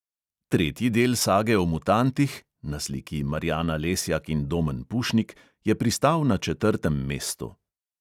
Tretji del sage o mutantih (na sliki marjana lesjak in domen pušnik) je pristal na četrtem mestu.